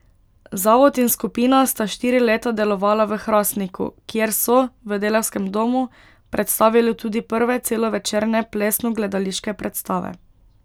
Zavod in skupina sta štiri leta delovala v Hrastniku, kjer so, v Delavskem domu, predstavili tudi prve celovečerne plesno gledališke predstave.